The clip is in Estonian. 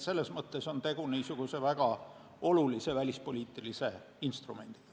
Selles mõttes on tegu väga olulise välispoliitilise instrumendiga.